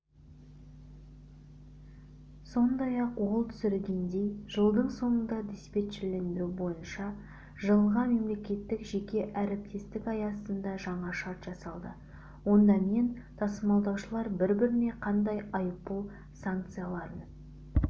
сондай-ақ ол түсіндіргендей жылдың соңында диспетчерлендіру бойынша жылға мемекеттік-жеке әріптестік аясында жаңа шарт жасалды онда мен тасымалдаушылар бір-біріне қандай айыппұл санкцияларын